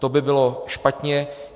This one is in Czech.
To by bylo špatně.